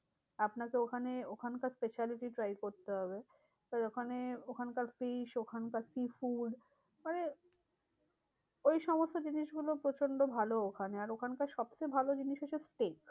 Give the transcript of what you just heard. আপনাকে ওখানে ওখানকার speciality try করতে হবে। আর ওখানে ওখানকার fish ওখানকার sea food মানে ঐসমস্ত জিনিসগুলো প্রচন্ড ভালো ওখানে। আর ওখানকার সবচেয়ে ভালো জিনিস হচ্ছে flesh